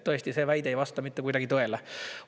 Tõesti, see väide ei vasta mitte kuidagi tõele.